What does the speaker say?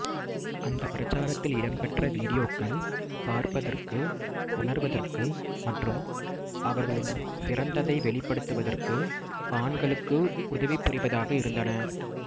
அந்த பிரச்சாரத்தில் இடம்பெற்ற வீடியோக்கள் பார்ப்பதற்கு உணர்வதற்கு மற்றும் அவர்களின் சிறந்ததை வெளிப்படுத்துவதற்கு ஆண்களுக்கு உதவிபுரிவதாக இருந்தன